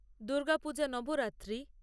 Durga Puja Navratri